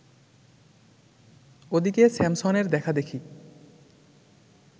ওদিকে স্যামসনের দেখাদেখি